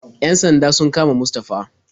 Yan sanda sun kama Mustafa.